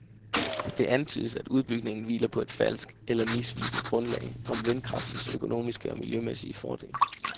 Det antydes, at udbygningen hviler på et falsk eller misvisende grundlag om vindkraftens økonomiske og miljømæssige fordele.